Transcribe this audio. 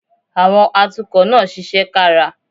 Àwọn atukọ̀ náà ṣiṣẹ́ kára